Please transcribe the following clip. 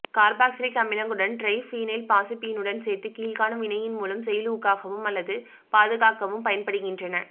carboxylic அமிலங்களுடன் டிரைபீனைல்பாசுப்பீனுடன் சேர்த்து கீழ்காணும் வினையின் மூலம் செயலூக்கவும் அல்லது பாதுகாக்கவும் பயன்படுகின்றன